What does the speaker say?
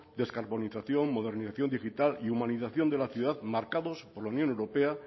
descarbonización modernización digital y humanización de la ciudad marcados por la unión europea